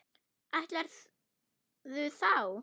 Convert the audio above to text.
Ætlarðu þá?